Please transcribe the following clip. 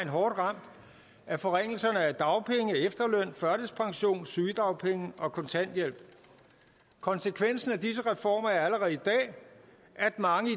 hårdt ramt af forringelserne af dagpenge efterløn førtidspension sygedagpenge og kontanthjælp konsekvensen af disse reformer er allerede i dag at mange i